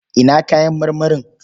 Ina kayan marmarin?